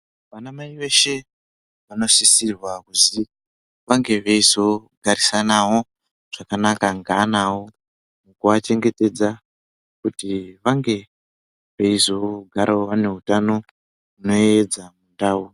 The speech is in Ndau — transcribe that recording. Vanamai veshe vanosisirwa kuzi vange veizo garisanawo zvakanaka ngeana awo kua chengetedza kuti vange vei zogarawo ane utano nedzandawu.